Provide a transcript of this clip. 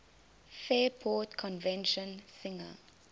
fairport convention singer